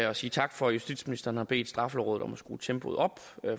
og sige tak for at justitsministeren har bedt straffelovrådet om at skrue tempoet op